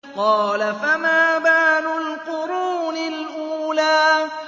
قَالَ فَمَا بَالُ الْقُرُونِ الْأُولَىٰ